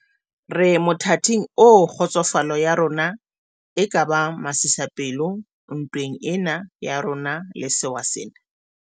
Re mothating oo kgotsofalo ya rona e ka bang masisapelo ntweng ena ya rona le sewa sena.